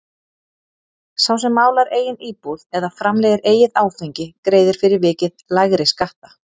Sá sem málar eigin íbúð eða framleiðir eigið áfengi greiðir fyrir vikið lægri skatta.